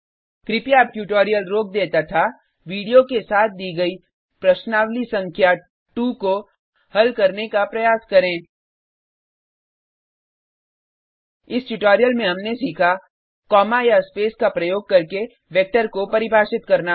कृपया अब ट्यूटोरियल रोक दें तथा वीडियो के साथ दी गई प्रश्नावली संख्या 2 को हल करने का प्रयास करें इस ट्यूटोरियल में हमने सीखा कॉमा या स्पेस का प्रयोग करके वेक्टर को परिभाषित करना